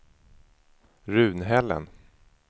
Runhällen